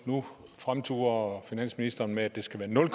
nu fremturer finansministeren med at det skal være nul